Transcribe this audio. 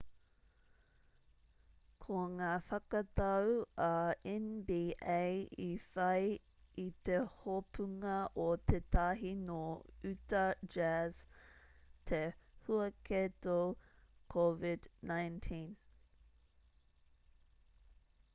ko ngā whakatau a nba i whai i te hopunga o tētahi nō uta jazz te huaketo covid-19